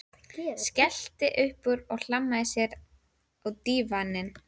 Skellti upp úr og hlammaði sér á dívaninn.